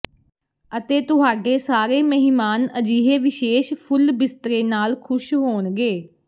ਅਤੇ ਤੁਹਾਡੇ ਸਾਰੇ ਮਹਿਮਾਨ ਅਜਿਹੇ ਵਿਸ਼ੇਸ਼ ਫੁੱਲ ਬਿਸਤਰੇ ਨਾਲ ਖੁਸ਼ ਹੋਣਗੇ